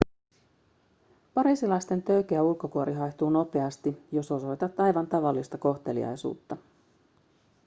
pariisilaisten töykeä ulkokuori haihtuu nopeasti jos osoitat aivan tavallista kohteliaisuutta